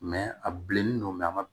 a bilennen don a ma